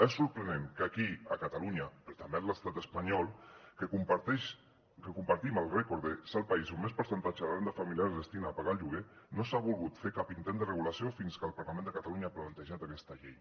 és sorprenent que aquí a catalunya però també a l’estat espanyol que compartim el rècord de ser el país on més percentatge de renda familiar es destina a pagar el lloguer no s’ha volgut fer cap intent de regulació fins que el parlament de catalunya ha plantejat aquesta llei